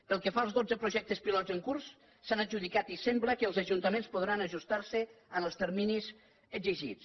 pel que fa als dotze projectes pilot en curs s’han adjudicat i sembla que els ajuntaments podran ajustar se als terminis exigits